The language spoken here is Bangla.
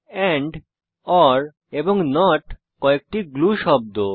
এন্ড ওর এবং নট কয়েকটি গ্লু শব্দ